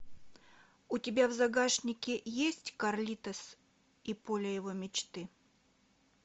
у тебя в загашнике есть карлитос и поле его мечты